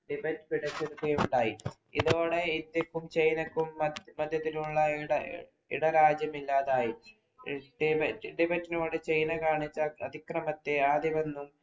Tibet പിടിച്ചെടുക്കുകയുണ്ടായി. ഇതോടെ ഇന്ത്യക്കും ചൈനക്കും മധ്യത്തിലുള്ള ഇട ഇടരാജ്യം ഇല്ലാതായി. ടിബറ്റ്‌. ടിബറ്റിനോട് ചൈന കാണിച്ച അതിക്രമത്തെ ആദ്യമൊന്നും